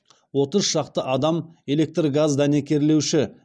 отыз шақты адам электргаздәнекерлеуші